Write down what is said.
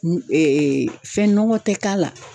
fɛn nɔgɔ tɛ k'a la.